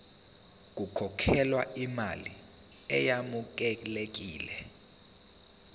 kukhokhelwe imali eyamukelekile